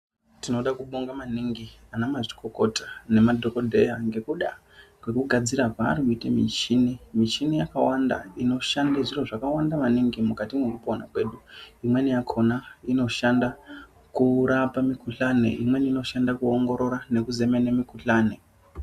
Tinoda kubonga maningi ana mazvikokota nemadhokodheya ngekuda kwekugadzira kwaari kuite michini michini yakawanda inoshande zviro zvakawande maningi mukati mwekupona kwedu imweni yakona inoshanda kurapa mikuhlani imweni inoshanda kuongorora nekuzemene mukhuhlani.